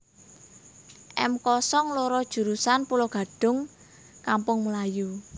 M kosong loro jurusan Pulogadung Kampung Melayu